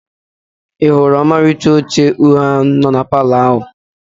I hụrụ ọmalịcha oche uhie no na Palọ ahụ?